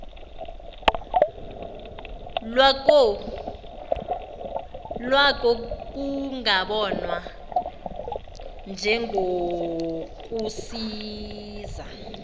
lwako kungabonwa njengokunokusiza